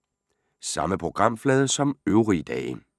Samme programflade som øvrige dage